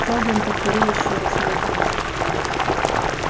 сэлдон повторил ещё раз медленнее